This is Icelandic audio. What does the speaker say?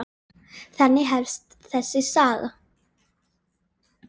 Þannig hefst þessi saga.